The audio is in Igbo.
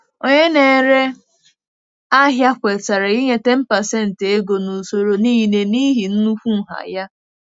Onye na-ere ahịa kwetara ịnye 10% ego na usoro niile n'ihi nnukwu nha ya.